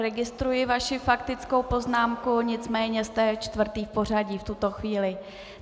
Registruji vaši faktickou poznámku, nicméně jste čtvrtý v pořadí v tuto chvíli.